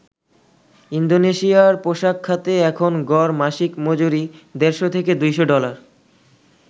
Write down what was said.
ইন্দোনেশিয়ার পোশাক খাতে এখন গড় মাসিক মজুরি দেড়শ থেকে ২০০ ডলার।